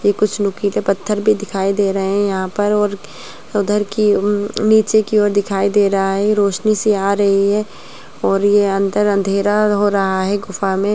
ये कुछ नुकीले पत्थर भी दिखाई दे रहे है यहां पर और उधर की नीचे की ओर दिखाई दे रहा है रोशनी सी आ रही है और ये अंदर अंधेरा आर हो रहा है गुफा मे।